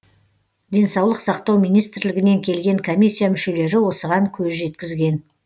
денсаулық сақтау министрлігінен келген комиссия мүшелері осыған көз жеткізген